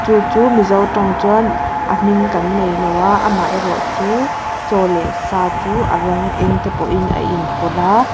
chu chu mizo tawng chuan a hming kan neilo a amaherawhchu chaw leh sa chu a rawng eng te pawh in a in pawlh a.